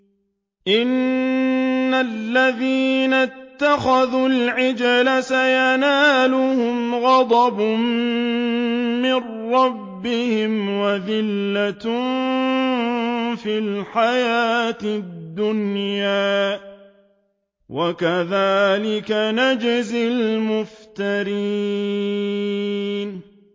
إِنَّ الَّذِينَ اتَّخَذُوا الْعِجْلَ سَيَنَالُهُمْ غَضَبٌ مِّن رَّبِّهِمْ وَذِلَّةٌ فِي الْحَيَاةِ الدُّنْيَا ۚ وَكَذَٰلِكَ نَجْزِي الْمُفْتَرِينَ